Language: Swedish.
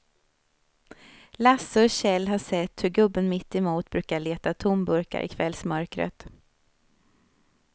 Lasse och Kjell har sett hur gubben mittemot brukar leta tomburkar i kvällsmörkret.